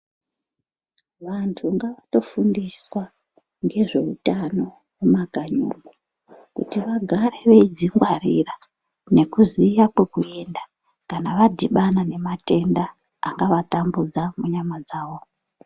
Vantu ngavatofundiswa ngezveutano mumakanyi umo kuti vagare veidzingwarira nekuziya kwekuenda kana vadhibana nematenda angavatambudza munyama dzavo.